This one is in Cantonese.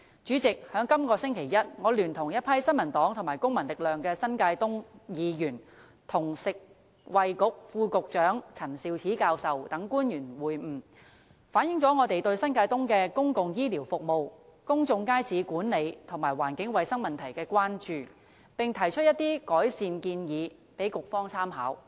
主席，在這個星期一，我聯同一群新民黨和公民力量的新界東區議員，與食物及衞生局副局長陳肇始教授等官員會晤，反映了我們對新界東的公共醫療服務、公眾街市管理及環境衞生問題的關注，並提出一些改善建議供局方參考。